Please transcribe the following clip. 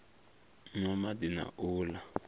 nwa madi na u la